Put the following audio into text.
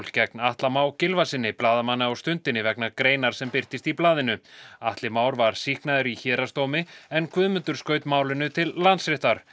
gegn Atla Má Gylfasyni blaðamanni á Stundinni vegna greinar sem birtist í blaðinu Atli Már var sýknaður í héraðsdómi en Guðmundur skaut málinu til Landsréttar